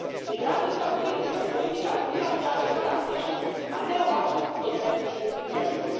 Migracijska politika i politika azila traže drastičnu, a ne ovakvu kozmetičku promjenu.